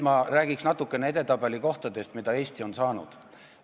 Ma räägin natukene edetabeli kohtadest, mis Eesti on saanud.